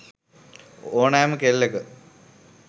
ඕනෑම කෙල්ලක